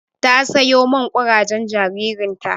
Ta sayo man kurajen jaririn ta.